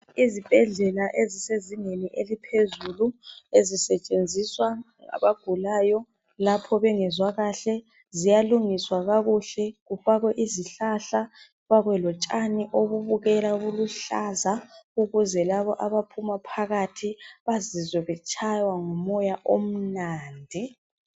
IZibhedlela ezisezingeni eliphezulu ezisetshenziswa ngabagulayo, lapho bengezwa kahle ziyalungiswa kakahle kufakwe izihlahla, kufakwe lotshani obubukeka buluhlaza ukuze labo abaphuma phakathi bazizwe betshaywa ngumoya omnandi.